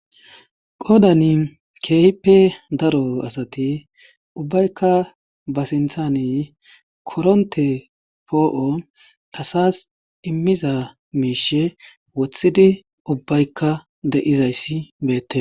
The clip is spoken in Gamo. qoodani keehippe daro asati ubbaykka ba sinthani koronte poo7o asas immiza miishe wothidi ubbaykka de7izayssi beette